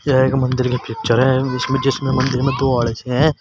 यह एक मंदिर की पिक्चर है। इसमें जिसमें मंदिर में दो आड्छे हैं।